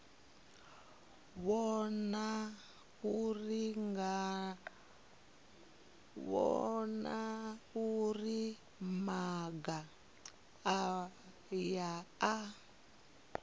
vhona uri maga aya a